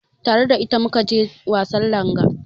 Tare da ita mu ka je wasan langa.